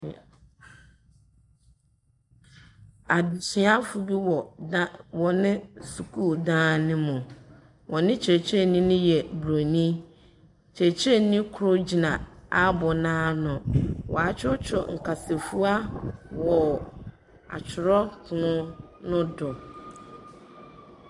Adesuafo bi wɔ da wɔ ne sukuu dan no mu. Wɔn kyerɛkyerɛni no yɛ buroni. Kyerɛkyerɛni kor gyina aboo no ano. Wɔakyerɛkyerɛw nkasafua wɔ akyerɛwpon no do.